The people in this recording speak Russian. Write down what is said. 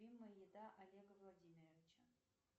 любимая еда олега владимировича